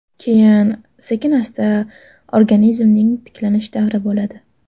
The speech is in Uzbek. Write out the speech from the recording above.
Keyin sekin-asta organizmning tiklanish davri bo‘ladi.